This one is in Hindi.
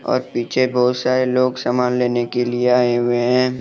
और पीछे बहुत सारे लोग सामान लेने के लिए आए हुए हैं।